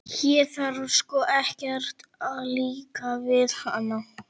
Þér þarf sko ekkert að líka við hana.